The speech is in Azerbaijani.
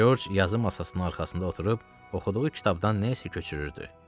Corc yazı masasının arxasında oturub oxuduğu kitabdan nə isə köçürürdü.